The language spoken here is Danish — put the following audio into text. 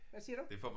Hvad siger du?